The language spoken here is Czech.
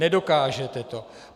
Nedokážete to.